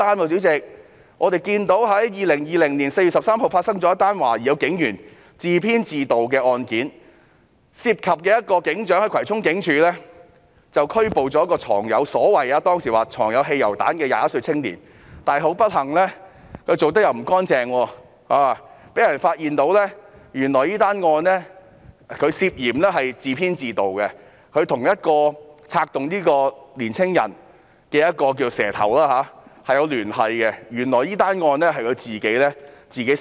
主席，在2020年4月13日亦發生了一宗懷疑警員自編自導的案件，涉及一名警長在葵涌警署拘捕了一名據稱藏有汽油彈的21歲青年，但不幸地，由於那名警長辦事不夠俐落，結果被人發現這宗案件涉嫌是由他自編自導，揭發他與策動這名青年的"蛇頭"有聯繫，原來這宗案件是由他自編自導的。